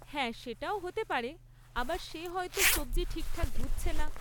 হ্যাঁ, সেটাও হতে পারে আবার সে হয়তো সব্জি ঠিকঠাক ধুচ্ছে না।